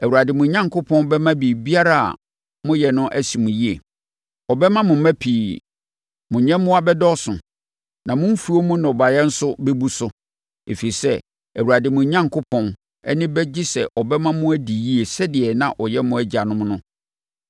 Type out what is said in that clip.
Awurade, mo Onyankopɔn, bɛma biribiara a moyɛ no asi mo yie. Ɔbɛma mo mma pii. Mo nyɛmmoa bɛdɔɔso. Na mo mfuo mu nnɔbaeɛ nso bɛbu so, ɛfiri sɛ, Awurade, mo Onyankopɔn, ani bɛgye sɛ ɔbɛma mo adi yie sɛdeɛ na ɔyɛ mo agyanom no.